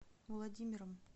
владимиром